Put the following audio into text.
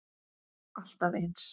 Alltaf eins.